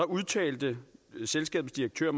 udtalte selskabets direktør